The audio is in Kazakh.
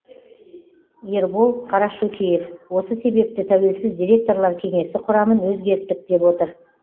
ербол қарашөкеев осы себепті тәуелсіз директорлар кеңесі құрамын өзгерттік деп отыр